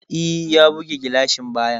E, ya buge gilashin bayan.